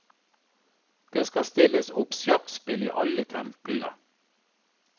Det skal stilles opp sjakkspill i alle templene.